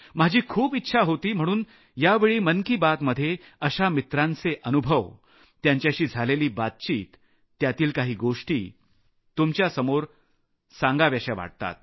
माझी खूप इच्छा होती म्हणून यावेळी मन की बात मध्ये अशा मित्रांचे अनुभव त्यांच्याशी झालेली बातचीत त्यातील काही गोष्टी तुमच्यासमोर सांगाव्यात